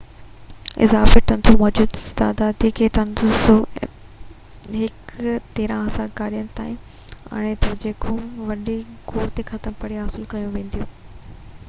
اضافي 300 مجموعي تعداد کي 1،300 گاڏين تائين آڻي ٿو جيڪي وڏي گوڙ کي ختم ڪرڻ لاءِ حاصل ڪيون وينديون